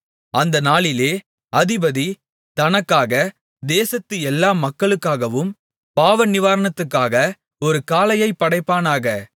அந்த நாளிலே அதிபதி தனக்காக தேசத்து எல்லா மக்களுக்காகவும் பாவநிவாரணத்துக்காக ஒரு காளையைப் படைப்பானாக